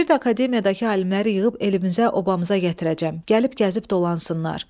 Deyirdi Akademiyadakı alimləri yığıb elimizə, obamıza gətirəcəm, gəlib gəzib dolansınlar.